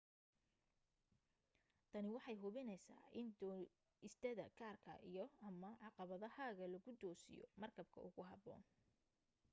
tani waxay hubinaysaa in dooistaada gaarka iyo/ama caqabadahaaga lagu toosiyo markabka ugu habboon